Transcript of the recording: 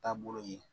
Taabolo ye